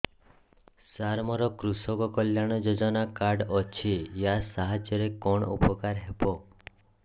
ସାର ମୋର କୃଷକ କଲ୍ୟାଣ ଯୋଜନା କାର୍ଡ ଅଛି ୟା ସାହାଯ୍ୟ ରେ କଣ ଉପକାର ହେବ